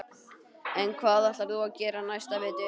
En hvað ætlar þú að gera næsta vetur?